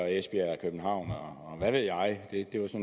esbjerg københavn og hvad ved jeg det var